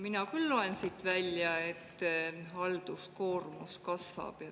Mina küll loen siit välja, et halduskoormus kasvab.